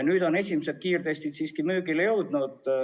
Nüüd on esimesed kiirtestid müügile jõudnud.